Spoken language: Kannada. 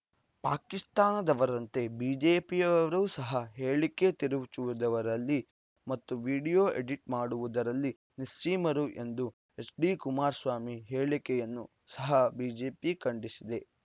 ಪಾಕಿಸ್ತಾನದವರಂತೆ ಬಿಜೆಪಿಯವರೂ ಸಹ ಹೇಳಿಕೆ ತಿರುಚುವುದರಲ್ಲಿ ಮತ್ತು ವಿಡಿಯೋ ಎಡಿಟ್‌ ಮಾಡುವುದರಲ್ಲಿ ನಿಸ್ಸೀಮರು ಎಂದು ಎಚ್‌ಡಿಕುಮಾರಸ್ವಾಮಿ ಹೇಳಿಕೆಯನ್ನು ಸಹ ಬಿಜೆಪಿ ಖಂಡಿಸಿದೆ